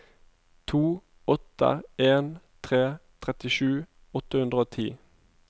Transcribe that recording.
to åtte en tre trettisju åtte hundre og ti